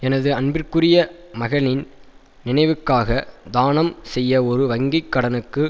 எனது அன்பிற்குரிய மகனின் நினைவுக்காக தானம் செய்ய ஒரு வங்கி கடனுக்கு